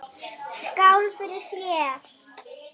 Skál fyrir þér.